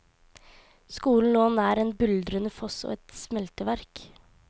Skolen lå nær en buldrende foss og et smelteverk.